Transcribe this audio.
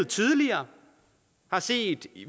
tidligere har set